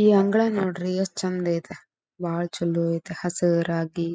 ಈ ಅಂಗಳ ನೋಡ್ರಿ ಎಷ್ಟ್ ಚಂದ್ ಐತೆ ಬಹಳ ಚಲೋ ಐತೆ ಹಸಿರಾಗಿ